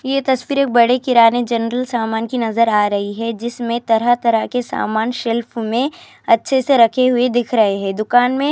یہ تصویر ایک بڑے کرانے جنرل سامان کی نظر ارہی ہے جس میں طرح طرح کے سامان شیلف میں اچھے سے رکھے ہوئے دکھ رہے ہیں دکان میں.